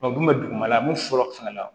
u tun bɛ dugumala min fɔlɔ la